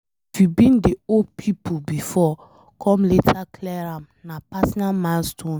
If you been dey owe pipo before come later clear am na personal milestone.